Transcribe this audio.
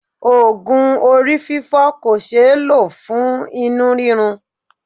Ogun orí fifo kò sé lo fún inú rirun.